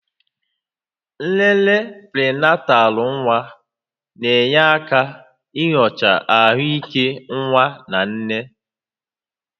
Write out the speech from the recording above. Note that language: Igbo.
Nlele prịnatalụ nwa na-enyere aka nyochaa ahụike nwa na nne